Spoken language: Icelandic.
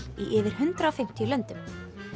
í yfir hundrað og fimmtíu löndum